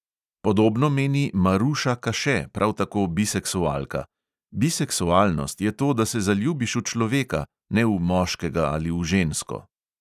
Podobno meni maruša kaše, prav tako biseksualka: "biseksualnost je to, da se zaljubiš v človeka, ne v moškega ali v žensko."